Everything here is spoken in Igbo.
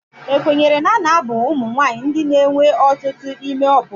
Ekwenyere na a na-abụ ụmụ nwanyị ndị na-enwe ọtụtụ ime ọpụpụ.